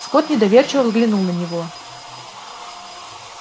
скотт недоверчиво взглянул на него